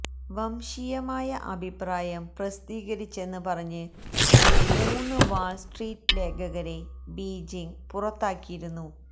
വംശീയമായ അഭിപ്രായം പ്രസിദ്ധീകരിച്ചെന്ന് പറഞ്ഞ് മൂന്ന് വാള്സ്ട്രീറ്റ് ലേഖകരെ ബീജിങ് പുറത്താക്കിയിരുന്നു